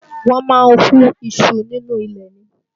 Wọ́n máa ń hú iṣu nínú ilẹ̀ ni